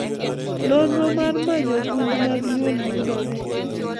Nonro mar manyo gund mag nyuol yudore.